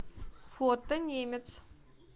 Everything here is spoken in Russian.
фото немец